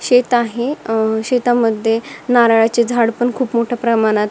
शेत आहे अ शेतामध्ये नारळाची झाड पण खूप मोठ्या प्रमाणात--